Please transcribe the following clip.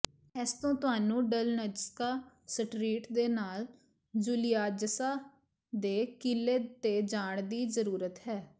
ਇਸ ਤੋਂ ਤੁਹਾਨੂੰ ਡਲਨਜਸਕਾ ਸਟਰੀਟ ਦੇ ਨਾਲ ਜੂਲੀਆਜਾਸਾ ਦੇ ਕਿਲੇ ਤੇ ਜਾਣ ਦੀ ਜ਼ਰੂਰਤ ਹੈ